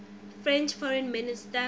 french foreign minister